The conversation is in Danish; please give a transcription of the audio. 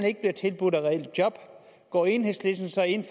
ikke bliver tilbudt reelle job går enhedslisten så ind